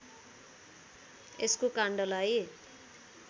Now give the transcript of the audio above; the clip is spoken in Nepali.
यसको काण्डलाई